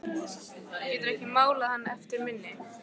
Geturðu ekki málað hann eftir minni?